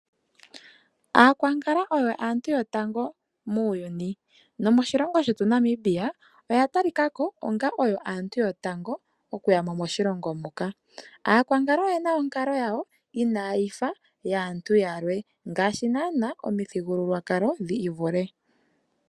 Aakwankala oyo aantu yotango muuyuni nomoshilongo shetu Namibia oya tali ka ko onga oyo aantu yotango oku ya mo moshilongo muka. Aakwankala oyena aantu onkalo yawo inaa yi fa yaantu yalwe ngaashi naana omithigululwakalo dhi ivule.